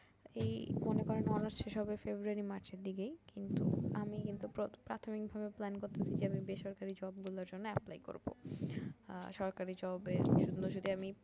এই মনে করেন honours শেষ হবে ফেব্রুয়ারি মার্চের দিকেই কিন্তু আমি কিন্তু প্রাথমিক ভাবে plane করতেসি যে বেসরকারি job গুলার জন্য apply করবো আর সরকারি job এর এগুলা যদি আমি